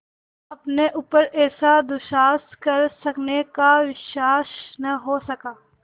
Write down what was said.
अपने ऊपर ऐसा दुस्साहस कर सकने का विश्वास न हो सका